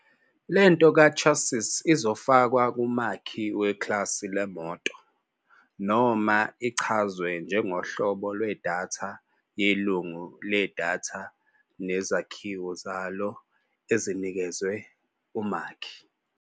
Le nto kaChassis izofakwa kumakhi weklasi leMoto, noma ichazwe njengohlobo lwedatha yelungu ledatha nezakhiwo zalo ezinikezwe umakhi.